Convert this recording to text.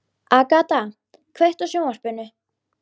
Agata, kveiktu á sjónvarpinu.